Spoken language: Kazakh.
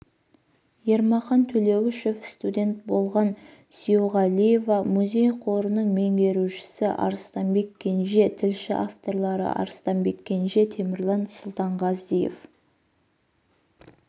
ермахан төлеуішов студент болған сүйеуғалиева музей қорының меңгерушісі арыстанбек кенже тілші авторлары арыстанбек кенже темірлан сұлтанғазиев